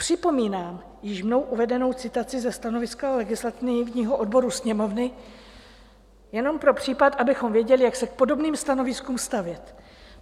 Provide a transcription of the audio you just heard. Připomínám již mnou uvedenou citaci ze stanoviska legislativního odboru Sněmovny, jenom pro případ, abychom věděli, jak se k podobným stanoviskům stavět.